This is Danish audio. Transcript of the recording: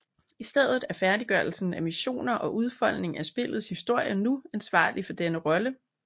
I stedet er færdiggørelsen af missioner og udfoldning af spillets historie nu ansvarlig for denne rolle